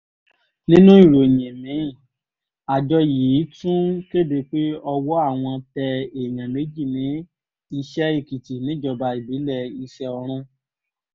nínú ìròyìn mi-ín àjọ yìí àjọ yìí tún kéde pé ọwọ́ àwọn tẹ èèyàn méjì ní iṣẹ́-èkìtì níjọba ìbílẹ̀ iṣẹ́ọ̀run